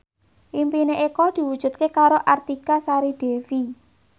impine Eko diwujudke karo Artika Sari Devi